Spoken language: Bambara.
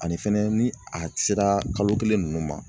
Ani fɛnɛ ni a sera kalo kelen ninnu ma